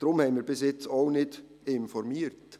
Deshalb haben wir bis jetzt auch nicht informiert.